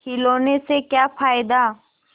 खिलौने से क्या फ़ायदा